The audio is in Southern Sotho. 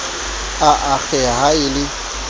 a akgeha ha a le